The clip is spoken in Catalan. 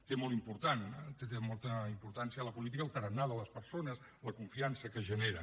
té molta importància a la política el tarannà de les persones la confiança que generen